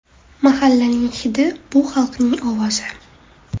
Mahallaning ‘hidi’ bu xalqning ovozi.